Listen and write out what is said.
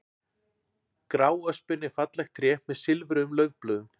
Gráöspin er fallegt tré með silfruðum laufblöðum.